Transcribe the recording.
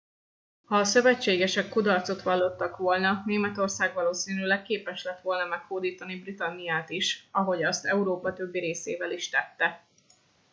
ha a szövetségesek kudarcot vallott volna németország valószínűleg képes lett volna meghódítani britanniát is ahogy azt európa többi részével is tette